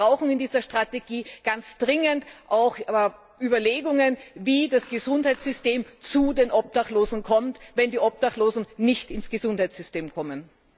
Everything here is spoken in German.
Das heißt, wir brauchen in dieser Strategie ganz dringend auch Überlegungen, wie das Gesundheitssystem zu den Obdachlosen kommt, wenn die Obdachlosen nicht ins Gesundheitssystem kommen.